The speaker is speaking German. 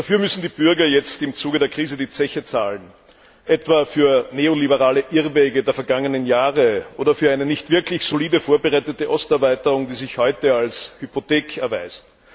Dafür müssen die Bürger jetzt im Zuge der Krise die Zeche zahlen etwa für neoliberale Irrwege der vergangenen Jahre oder für eine nicht wirklich solide vorbereitete Osterweiterung, die sich heute als Hypothek erweist.